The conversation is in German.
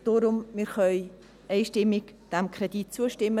Deshalb: Wir können diesem Kredit einstimmig zustimmen.